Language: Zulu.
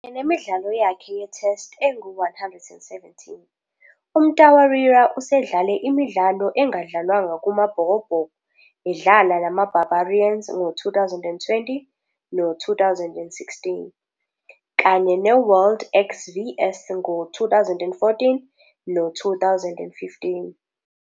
Nemidlalo yakhe ye-Test engu-117, uMtawarira usedlale imidlalo engadlalwanga kumaBhokobhoko edlala namaBarbarians ngo-2010 no-2016, kanye ne- World XVs ngo-2014 no-2015.